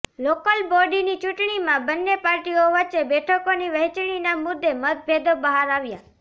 local બોડીની ચૂંટણીમાં બંને પાર્ટીઓ વચ્ચે બેઠકોની વહેંચણીના મુદ્દે મતભેદો બહાર આવ્યા છે